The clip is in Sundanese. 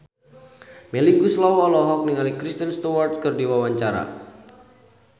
Melly Goeslaw olohok ningali Kristen Stewart keur diwawancara